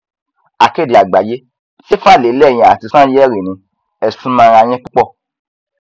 akéde àgbáyé ṣe fàlẹ lẹyìn àti sànyẹrì ni ẹ sún mọra yín púpọ